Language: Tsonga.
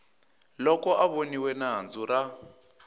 loko a voniwe nandzu ra